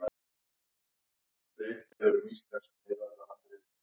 Ég furðaði mig á því hversu vel við náðum saman þrátt fyrir aldursmuninn.